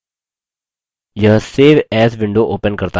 यह save as window open करता है